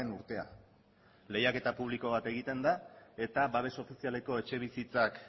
urtea lehiaketa publiko bat egiten da eta babes ofizialeko etxebizitzak